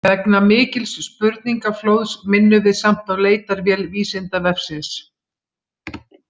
Vegna mikils spurningaflóðs minnum við samt á leitarvél Vísindavefsins.